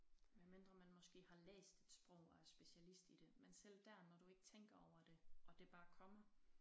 Medmindre man måske har læst et sprog og er specialist i det men selv der når du ikke tænker over det og det bare kommer